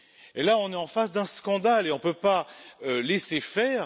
On est là en face d'un scandale et on ne peut pas laisser faire.